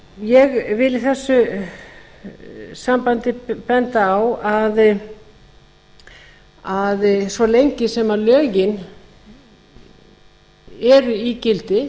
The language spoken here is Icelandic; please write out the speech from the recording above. ég vil í þessu sambandi benda á að svo lengi sem lögin eru í gildi